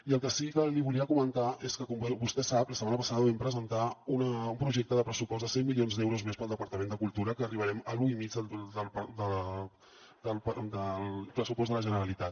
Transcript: i el que sí que li volia comentar és que com vostè sap la setmana passada vam presentar un projecte de pressupost de cent milions d’euros més per al departament de cultura que arribarem a l’u i mig del pressupost de la generalitat